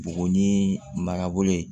Buguni marabolo ye